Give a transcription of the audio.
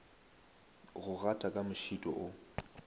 go gata ka mošito o